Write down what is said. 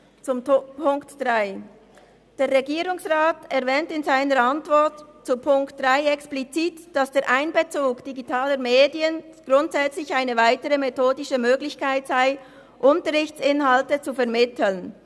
Zu Punkt 3: Der Regierungsrat erwähnt in seiner Antwort zu Punkt 3 explizit, dass der Einbezug digitaler Medien grundsätzlich eine weitere methodische Möglichkeit sei, Unterrichtsinhalte zu vermitteln.